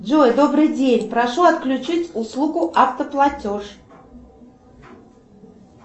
джой добрый день прошу отключить услугу автоплатеж